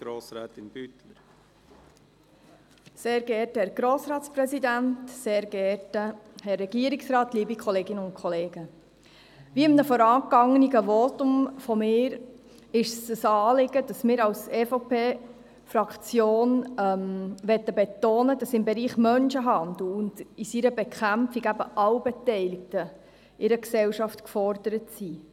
Wie in einem vorangegangenen Votum meinerseits bereits gesagt, ist es der Fraktion der EVP ein Anliegen, zu betonen, dass im Bereich des Menschenhandels und dessen Bekämpfung in einer Gesellschaft alle Beteiligten gefordert sind.